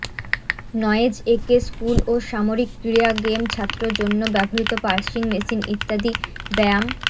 noise এ কে school ও সামরিক ক্রীড়া গেম ছাত্র জন্য ব্যবহৃত পার্সিং মেশিন ইত্যাদি ব্যায়াম